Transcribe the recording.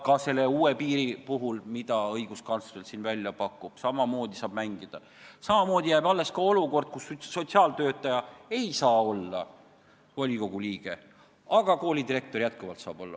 Ka selle uue piiri puhul, mida õiguskantsler välja pakub, saab samamoodi mängida, samamoodi jääb alles olukord, kus sotsiaaltöötaja ei saa olla volikogu liige, aga koolidirektor saab.